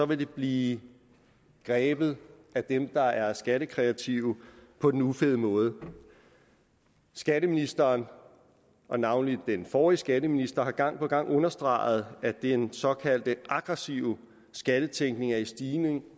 det blive grebet af dem der er skattekreative på den ufede måde skatteministeren og navnlig den forrige skatteminister har gang på gang understreget at den såkaldt aggressive skattetænkning er i stigning